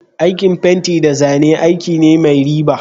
Aikin fenti da zane aiki ne mai riba.